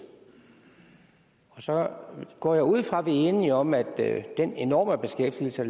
og så går jeg ud fra at vi er enige om at den enorme beskæftigelse